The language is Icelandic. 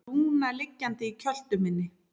Lúna liggjandi í kjöltu minni.